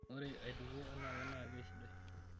Ore aitukuo anaake naa keisidai.